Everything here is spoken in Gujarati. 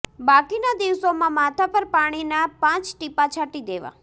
બાકીના દિવસોમાં માથા પર પાણીનાં પાંચ ટીપાં છાંટી દેવાં